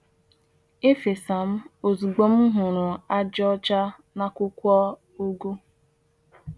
E'fesa m ozugbo m m hụrụ ajị ọcha n’akwụkwọ ugu.